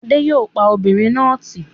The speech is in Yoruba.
Adé yòó pa obìnrin náà tì